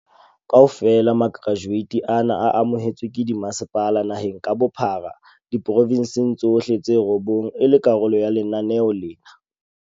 Kaofela makerajueti ana a amohetswe ke dimasepala naheng ka bophara diporofensing tsohle tse robong e le karolo ya lenaneo lena.